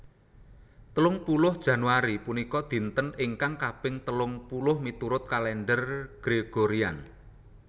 Telung puluh Januari punika dinten ingkang kaping telung puluh miturut Kalèndher Gregorian